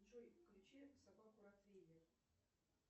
джой включи собаку ротвейлер